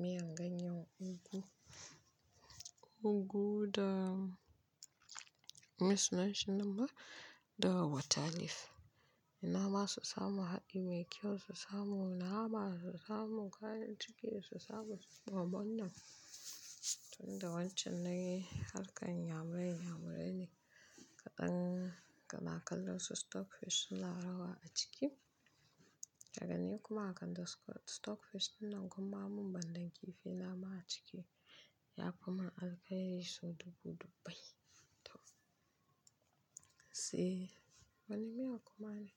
miyan ganyen ugu. Ugu da, me sunanshi nan ma? Da water leaf. Inama su samu haɗi mai kyau, su samu nama, su samu kayan ciki da su samu gwamman nan. Lnda wancan nayi harkan iya murai iya muraine. Kaɗan kana kalansu stockfish suna rawa a ciki. Daga ni kuma a kan stockfish dinnan gumma ammun bandan kifi nama a ciki yafi ma alkhairi so dubu-dubbai. To sai wani miya kuma ne.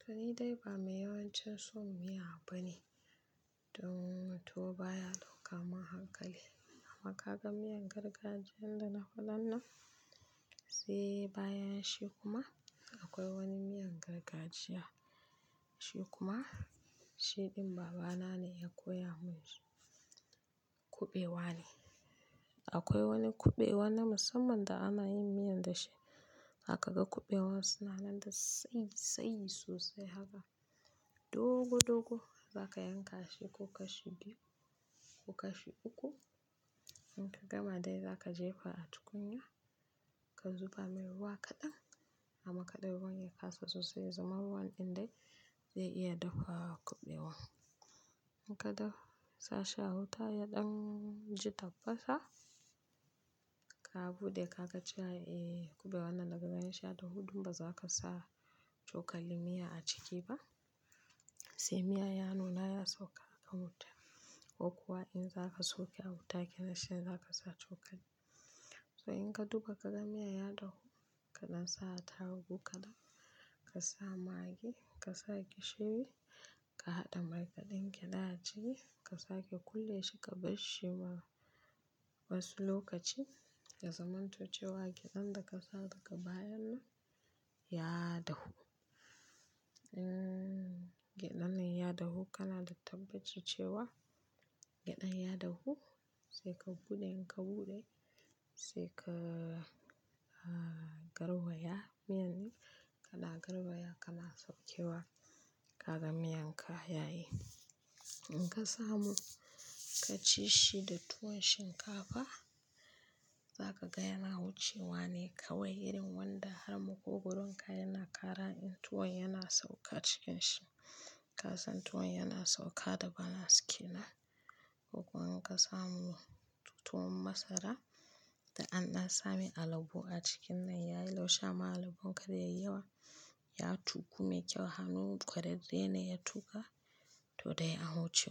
To ni dai ba mai yawancin son miya ba ne. Toh tuwo baya ɗauka mun hakali. Amma kaga miyan gargajiyan dana faɗannan sai bayanshi kuma, akwai wani miyan gargajiya shi kuma shiɗin babana ne ya koya munshi. Kuɓewa ne. Akwai wani kuɓewa na musamman da ana yin miyan dashi. Kaga kuɓewan suna nan da tsayi-tsayi sosai haka. Dogo-dogo zaka yanka shi ko kashi biyu ko kashi uku. Inka gama dai zaka jefa a tukunya, ka zuba mai ruwa kaɗan amma kada ruwan ya kasa sosai. Ya zama ruwan ɗin dai zai iya dafawa kuɓewan. Inka dafa, sashi a wuta ya ɗanji tappasa. Ka buɗe kaga cewa, eh, kuɓewan nan daga ganinshi ya dahu, dun baza kasa cokalin miya a ciki ba. Sai miya ya nuna ya sauka a wuta ko kuwa in zaka sauka a wuta kenan shine zakasa cokali. So inka duba kaga miya ya dahu, ka nasa tarugu kaɗan, kasa magi ka sake shiri, ka haɗa mai da ɗan gyada ciki ka sake kulle shi ka bar shi ma wasu lokaci. Ya zamanto cewa gyaɗanda kasa daga bayannan ya dahu. In kenanne ya dahu kanada tabbaci cewa gyaɗan ya dahu saika buɗe ka buɗe saika ka ka gauraya miyan. Kana gauraya kana saukewa. Kaga miyanka yayi. Inka samu kaci shi da tuwon shinkafa za kaga yana wucewa ne kawai irin wanda har maƙogoronka yana kara in tuwon yana sauka cikin shi. Kasan tuwon yana sauka da bana askina. Ko kuwa inka samu tuwon masara da anna samai alabo a cikinnan yayi laushi amma alabon ka zai yawa ya tuƙu mai kyau hanun ƙwararre ne ya tuƙa todai an huce.